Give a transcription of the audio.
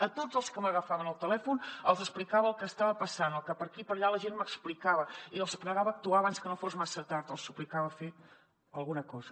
a tots els que m’agafaven el telèfon els explicava el que estava passant el que per aquí i per allà la gent m’explicava i els pregava actuar abans que no fos massa tard els suplicava fer alguna cosa